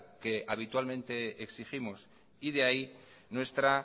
que habitualmente exigimos y de ahí nuestra